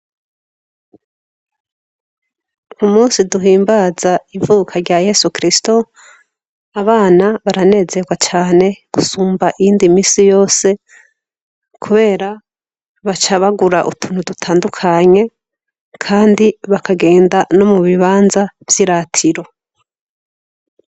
Umusi duhimbaza ivuka rya Yesu Kristo ,abana baranezerwa cane gusumba iyindi minsi yose, kubera baca bagura utuntu dutandukanye kandi bakagenda no mubibanza vy'iratiro.